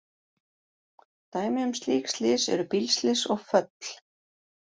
Dæmi um slík slys eru bílslys og föll.